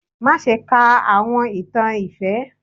Má ṣe kà àwọn ìtàn ifẹ!